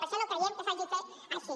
per això no creiem que s’hagi de fer així